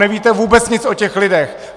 Nevíte vůbec nic o těch lidech!